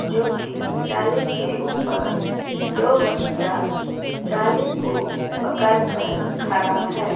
जो की जाली के ऊपर दो बच्चा जाली को पकड़ कर खरा है।